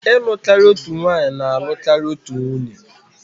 ịlụ karịa otu nwanyị na-alụ karịa otu nwunye